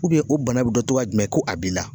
o bana bi dɔn cogoya jumɛn ko a b'i la ?